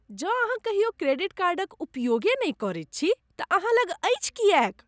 जँ अहाँ कहियो क्रेडिट कार्डक उपयोगे नहि करैत छी तँ अहाँ लग अछि किएक?